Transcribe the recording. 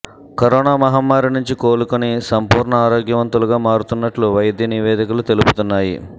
corona మహమ్మారి నుంచి కోలు కొని సంపూర్ణ ఆరోగ్యవంతులుగా మారుతున్నట్లు వైద్యనివేదికలు తెలుపుతున్నాయి